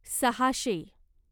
सहाशे